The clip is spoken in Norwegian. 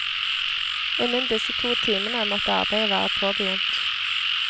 Innen disse to timene måtte arbeidet være påbegynt.